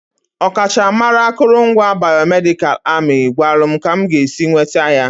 Ọkachamara akụrụngwa bayomedikalụ amị gwara m ka m ga-esi nweta ya.